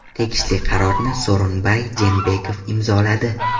Tegishli qarorni bosh vazir Sooronbay Jeenbekov imzoladi.